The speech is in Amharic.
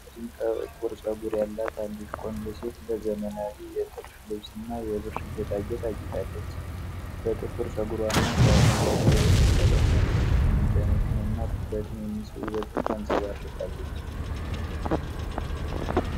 ረጅም ጥቁር ፀጉር ያላት አንዲት ቆንጆ ሴት በዘመናዊ የጥልፍ ልብስ እና የብር ጌጣጌጥ አጊጣለች። በጥቁር ፀጉሯና በአረንጓዴ የአይን ቀለምዋ ትልቅ መደነቅንና ትኩረትን የሚስብ ውበትን ታንጸባርቃለች።